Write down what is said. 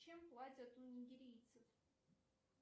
чем платят у нигерийцев